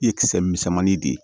Ye kisɛ misɛnmanin de ye